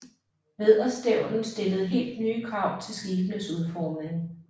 Vædderstævnen stillede helt nye krav til skibenes udformning